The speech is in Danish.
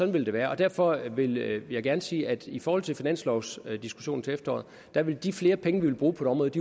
vil det være derfor vil jeg gerne sige at i forhold til finanslovsdiskussionen til efteråret vil de flere penge vi vil bruge på et